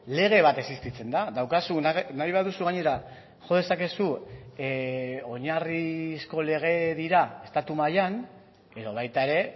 lege bat existitzen da daukazun nahi baduzu gainera jo dezakezu oinarrizko lege dira estatu mailan edo baita ere